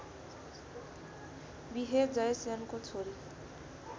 बिहे जयसेनको छोरी